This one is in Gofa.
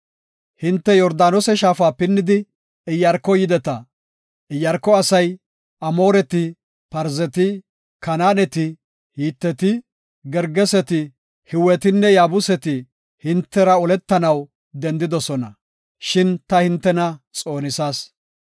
Hinte Yordaanose shaafa pinnidi, Iyaarko yideta. Iyaarko asay, Amooreti, Parzeti, Kanaaneti, Hiteti, Gergeseti, Hiwetinne Yaabuseti hintera oletanaw dendidosona, shin ta hintena xoonisas.